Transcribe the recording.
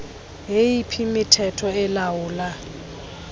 yeyiphi imithetho elawula